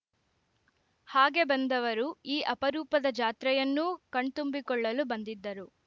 ಹಾಗೆ ಬಂದವರು ಈ ಅಪರೂಪದ ಜಾತ್ರೆಯನ್ನೂ ಕಣ್ತುಂಬಿಕೊಳ್ಳಲು ಬಂದಿದ್ದರು